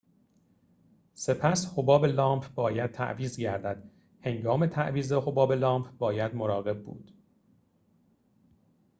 سپس حباب لامپ باید تعویض گردد هنگام تعویض حباب لامپ باید مراقب بود